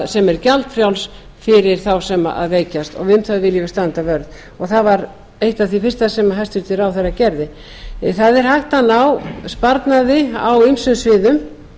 sem er gjaldfrjáls fyrir þá sem veikjast og um það viljum við standa vörð það var eitt af því fyrsta sem hæstvirtur ráðherra gerði það er hægt að ná sparnaði á ýmsum sviðum